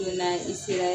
Donna i sera